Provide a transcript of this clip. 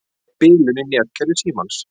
Bilun í netkerfi Símans